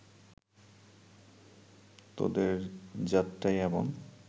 তোদের জাতটাই এমন